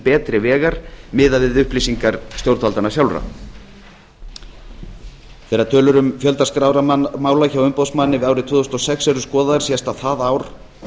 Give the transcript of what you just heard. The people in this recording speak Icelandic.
betri vegar miðað við upplýsingar stjórnvaldanna sjálfra þegar tölur um fjölda skráðra mála hjá umboðsmanni fyrir árið tvö þúsund og sex eru skoðaðar sést að það ár